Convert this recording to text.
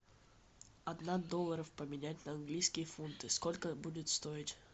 одна долларов поменять на английские фунты сколько будет стоить